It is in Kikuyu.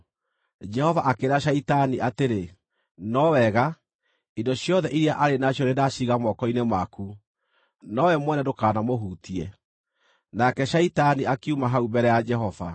Jehova akĩĩra Shaitani atĩrĩ, “No wega, indo ciothe iria arĩ nacio nĩndaciiga moko-inĩ maku, nowe mwene ndũkanamũhutie.” Nake Shaitani akiuma hau mbere ya Jehova.